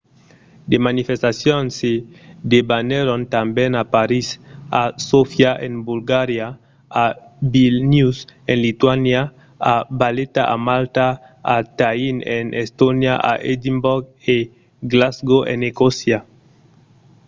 de manifestacions se debanèron tanben a parís a sofia en bulgaria a vilnius en lituània a valeta a malta a tallinn en estònia a edimborg e glasgow en escòcia